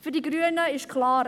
Für die Grünen ist klar: